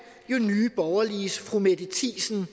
nye borgerliges fru mette thiesen